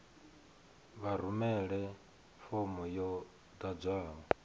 vha rumele fomo yo ḓadzwaho